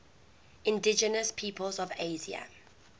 indigenous peoples of asia